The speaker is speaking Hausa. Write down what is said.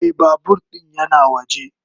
Mai babur din yana waje.